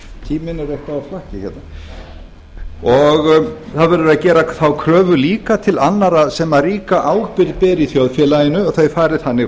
tíminn er eitthvað á flokki hérna og það verður að gera þá kröfu líka til annarra sem ríka ábyrgð bera í þjóðfélaginu að þau fari þannig